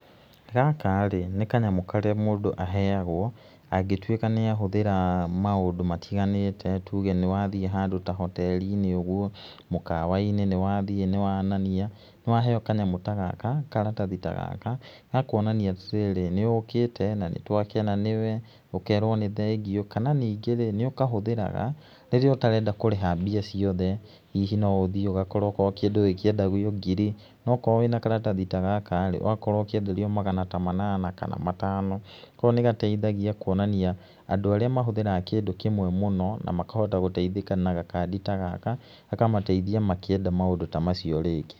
Gaka rĩ, nĩ kanyamũ karĩa mũndũ aheagwo angĩtũĩka nĩ ahũthĩra maũndũ matiganĩte, tuge nĩ wathĩe handũ ta hoteri-inĩ ũguo, mũkawa-inĩ nĩ wathĩe nĩ wonania, nĩ waheo kanyamũ ta gaka, karatathi ta gaka ga kuonania atĩ rĩrĩ nĩ ũkĩte na nĩ twakena nĩwe, ũkerwo nĩ thengĩu, kana ningĩ rĩ, nĩ ũkahũthĩraga rĩrĩa ũtarenda kũrĩha mbia ciothe hihi no ũthĩe ũgakora okorwo kĩndũ gĩkĩendagio ngiri no okorwo wĩna karatathi ta gaka-rĩ ũgakorwo ũkĩenderio magana ta manana kana matano. Koguo nĩ gateithagia kũonania andũ arĩa mahũthĩraga kĩndũ kĩmwe mũno na makahota gũteithĩka na gakandi ta gaka gakamateithia makĩenda maũndũ ta macio rĩngĩ.